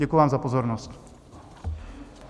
Děkuji vám za pozornost.